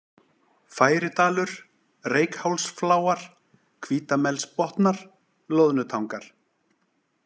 Færidalur, Reykhálsfláar, Hvítamelsbotnar, Loðnutangar